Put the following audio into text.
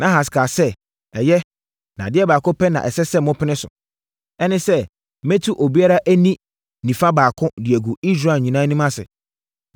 Nahas kaa sɛ, “Ɛyɛ, na adeɛ baako pɛ na ɛsɛ sɛ mopene so. Ɛne sɛ, mɛtu obiara ani nifa baako de agu Israel nyinaa anim ase.”